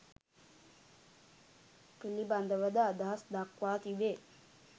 පිළිබඳව ද අදහස් දක්වා තිබේ